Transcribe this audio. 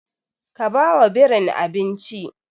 Ka ba wa birin abinci!